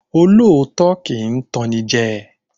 Olóòótọ́ kì í tan ni jẹ